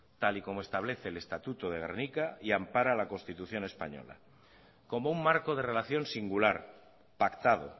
tal y como establece el estatuto de gernika y ampara la constitución española como un marco de relación singular pactado